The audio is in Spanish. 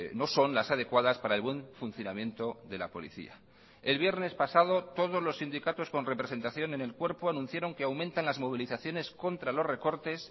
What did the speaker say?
no son las adecuadas para el buen funcionamiento de la policía el viernes pasado todos los sindicatos con representación en el cuerpo anunciaron que aumentan las movilizaciones contra los recortes